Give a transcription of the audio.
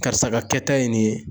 Karisa ka kɛta ye nin ye